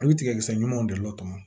A bɛ tigɛ sira ɲumanw de la tɔmɔnɔ